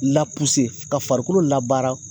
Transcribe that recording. ka farikolo la baara.